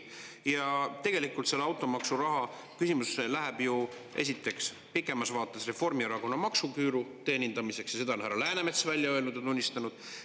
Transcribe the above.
Tegelikult see automaksuraha läheb ju, esiteks, pikemas vaates Reformierakonna maksuküüru teenindamiseks, seda on härra Läänemets välja öelnud ja tunnistanud.